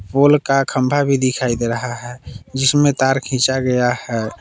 पोल का खम्भा भी दिखाई दे रहा है जिसमें तार खींचा गया है।